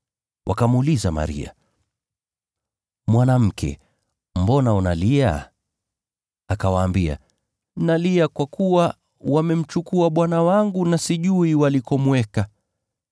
Wakamuuliza Maria, “Mwanamke, mbona unalia?” Akawaambia, “Nalia kwa kuwa wamemchukua Bwana wangu na sijui walikomweka.”